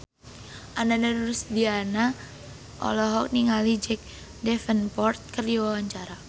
Ananda Rusdiana olohok ningali Jack Davenport keur diwawancara